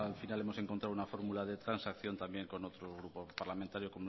final hemos encontrado un fórmula de transacción también con otro grupo parlamentario